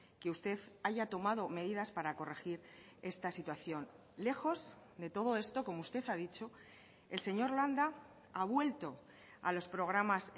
que usted haya tomado medidas para corregir esta situación lejos de todo esto como usted ha dicho el señor landa ha vuelto a los programas